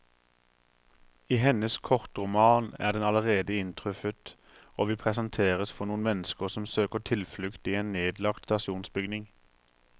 I hennes kortroman er den allerede inntruffet, og vi presenteres for noen mennesker som søker tilflukt i en nedlagt stasjonsbygning.